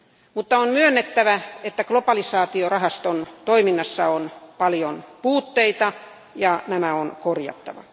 Mutta on myönnettävä, että globalisaatiorahaston toiminnassa on paljon puutteita, ja nämä on korjattava.